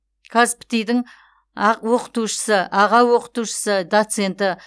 қазпти дың оқытушысы аға оқытушысы доценті